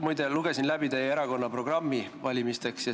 Muide, lugesin läbi teie erakonna valimisprogrammi.